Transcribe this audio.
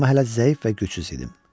Amma hələ zəif və gücsüz idim.